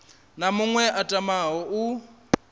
na muṅwe a tamaho u